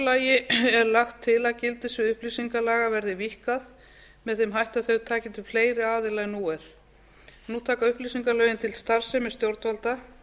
lagi er lagt til að gildissvið upplýsingalaga verði víkkað með þeim hætti að þau taki til fleiri aðila en nú er nú taka upplýsingalögin til starfsemi stjórnvalda